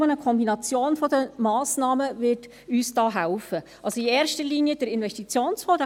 Nur eine Kombination der Massnahmen wird uns da helfen – in erster Linie der Investitionsfonds;